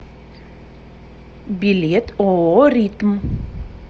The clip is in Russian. билет ооо ритм